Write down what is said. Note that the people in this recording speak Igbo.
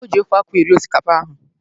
O ji ofe akwụ eri osikapa ahụ.